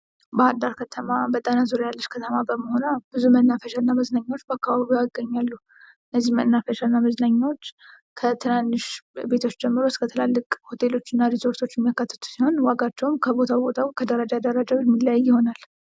ባህር ዳር ከተማ በጣና ዙርያ ያልች ከተማ በመሆኗ ብዙ መናፈሻ እና መዝናኛዎች በአካባቢዋ ይገኛሉ። እነዚህ መናፈሻና መዝናኛዎች ከትናንሽ ቤቶች ጀምሮ እስከ ትላልቅ ሆቴሎችና ሪዞርቶች የሚያካትቱ ሲሆን፤ ዋጋቸውም ከቦታው ቦታው ከደረጃ ደረጃው የሚለያይ ይሆናል።